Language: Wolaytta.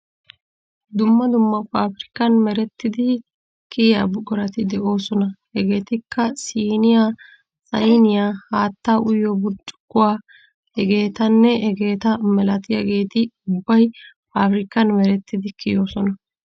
Dumma dumma paafirkkan merettidi kiya buqurati de'oosona. Hegeetikka:- siiniya, sayniya, haattaa uyiyo buccukkuwa hegeetanne hegeeta malatiyageeti ubbay paafirkkan merettidi kiyoosona.